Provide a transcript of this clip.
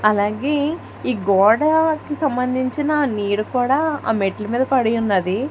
అలాగే ఈ గోడకి సంబంధించిన నీరు కూడా ఆ మెట్ల మీద పడి ఉన్నది.